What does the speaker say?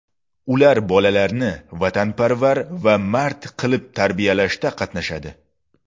Ular bolalarni vatanparvar va mard qilib tarbiyalashda qatnashadi.